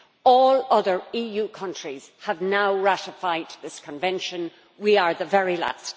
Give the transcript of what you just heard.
All other EU countries have now ratified this Convention we are the very last.